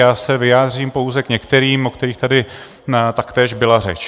Já se vyjádřím pouze k některým, o kterých tady taktéž byla řeč.